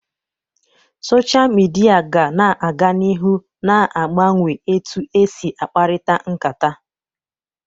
Sochaa midia ga na aga n'ihu na agbanwe etu esi akparita nkata.